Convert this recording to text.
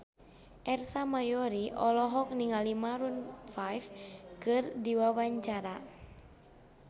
Ersa Mayori olohok ningali Maroon 5 keur diwawancara